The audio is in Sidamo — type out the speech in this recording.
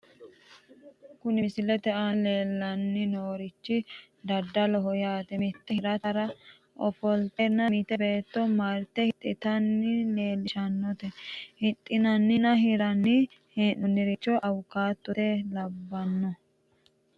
Kuni misilete aana leellanni noorichi daddaloho yaate mitte hirtara ofolteenna mitte beetto marte hidhitanna leellishshanote, hidhinanninna hirammanni hee'nooririchino awukaatote laalooti.